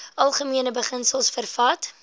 algemene beginsels vervat